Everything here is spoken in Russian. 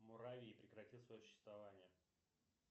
муравьи прекратят свое существование